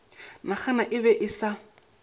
naga e be e sa